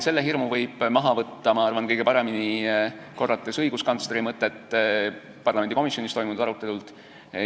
Selle hirmu võib maha võtta, ma arvan, kõige paremini, korrates õiguskantsleri mõtet parlamendikomisjonis toimunud arutelult.